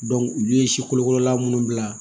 olu ye sikolokolola minnu bila